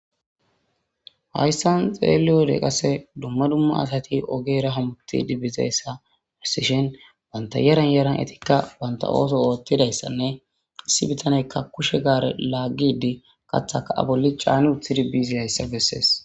hayssan xeeliyode qase dumma dumma asati ogeera hamuti dibbizeyssahussishen banta yaran yaran etikka banta ooso oottidayssanne issi bitaneykka kushe gaare laaggidi kathaka aboli caani uthidi biizidayssa bessees